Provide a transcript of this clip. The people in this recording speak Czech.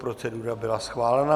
Procedura byla schválena.